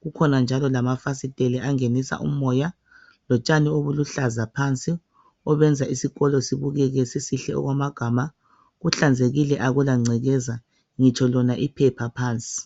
kukhona njalo lamafasiteli angenisa umoya lotshani obuluhlaza phansi obenza isikolo sibukeke sisihle okwamagama kuhlanzekile akulangcekeza ngitsho lona iphepha phansi.